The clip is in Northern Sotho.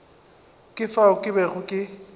ka fao ke bego ke